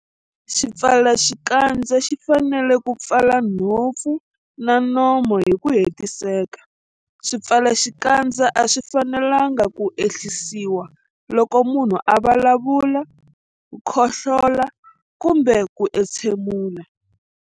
Xipfalaxikandza xi fanele ku pfala nhompfu na nomo hi ku hetiseka. Swipfalaxikandza a swi fanelanga ku ehlisiwa loko munhu a vulavula, khohlola kumbe ku entshemula.